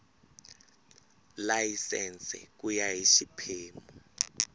layisense ku ya hi xiphemu